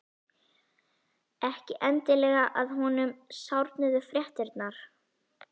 Ekki endilega að honum sárnuðu fréttirnar.